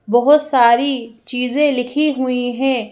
बहुत सारी चीजें लिखी हुई हैं।